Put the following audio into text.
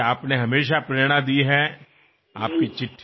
మీరు నాకెప్పుడూ ప్రేరణని అందిస్తూనే ఉన్నారు